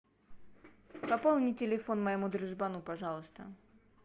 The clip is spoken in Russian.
пополни телефон моему дружбану пожалуйста